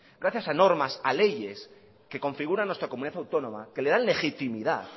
gracias a normas a leyes que configuran nuestra comunidad autónoma que le dan legitimidad